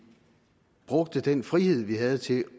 brugte den frihed vi har til